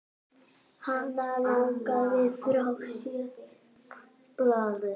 Hann lagði frá sér blaðið.